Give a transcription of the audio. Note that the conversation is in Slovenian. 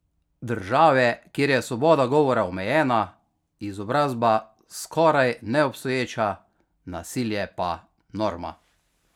Države, kjer je svoboda govora omejena, izobrazba skoraj neobstoječa, nasilje pa norma.